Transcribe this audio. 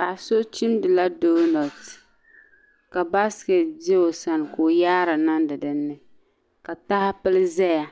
Paɣ' so chimdila doonɔti ka baasikɛti be o sani ka o yaari niŋdi di ni ka taha pili zaya